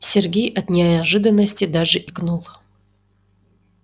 сергей от неожиданности даже икнул